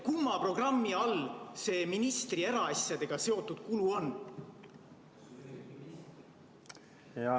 Kumma programmi all see ministri eraasjadega seotud kulu on?